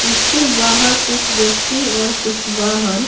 इसके बाहर कुछ व्यक्ति और कुछ वाहन--